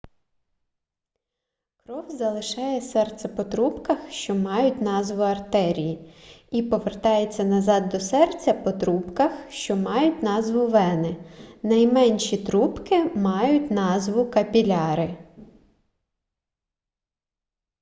кров залишає серце по трубках що мають назву артерії і повертається назад до серця по трубках що мають назву вени найменші трубки мають назву капіляри